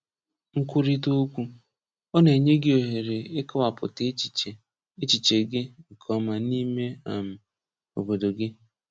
Nkwurịta Okwu: Ọ na-enye gị ohere ịkọwapụta echiche echiche gị nke ọma n’ime um obodo gị.